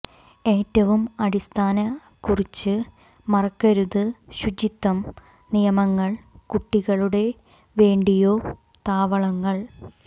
ഏറ്റവും അടിസ്ഥാന കുറിച്ച് മറക്കരുത് ശുചിത്വം നിയമങ്ങൾ കുട്ടികളുടെ വേണ്ടിയോ താവളങ്ങൾ